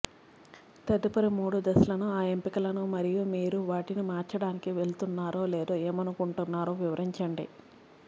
తదుపరి మూడు దశలను ఆ ఎంపికలను మరియు మీరు వాటిని మార్చడానికి వెళుతున్నారా లేదో ఏమనుకుంటున్నారో వివరించండి